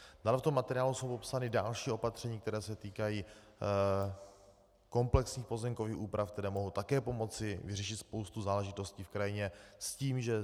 Dále v tom materiálu jsou popsána další opatření, která se týkají komplexních pozemkových úprav, které mohou také pomoci vyřešit spoustu záležitostí v krajině, s tím, že